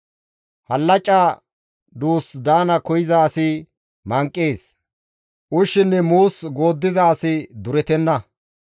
Hallaca duus daana koyza asi manqees; ushshinne muus gooddiza asi durettenna.